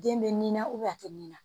Den bɛ nin na a tɛ nin na